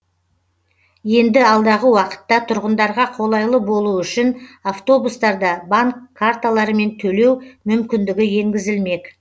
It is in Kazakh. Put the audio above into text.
енді алдағы уақытта тұрғындарға қолайлы болуы үшін автобустарда банк карталырымен төлеу мүмкіндігі енгізілмек